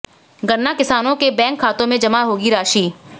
गन्ना किसानों के बैंक खातों में जमा होगी राशि